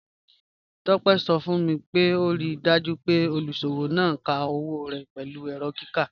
Tope sọ fun mi pé o ríì dájú pé olúṣọwọ náà ká owo rẹ́ pẹ̀lú èrọ̀ kíkà.